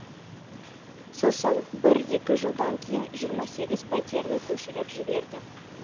сосын бір екі жылдан кейін жиырма сегіз пәтерді көшіріп жіберді